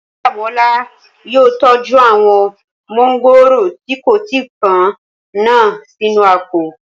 Oyíndàmọ́lá yóò tọ́jú àwọn mọ́ngòrò tí kò tí pọ́n náà sínú àpò